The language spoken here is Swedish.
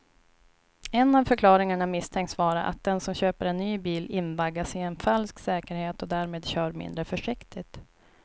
En av förklaringarna misstänks vara att den som köper en ny bil invaggas i en falsk säkerhet och därmed kör mindre försiktigt.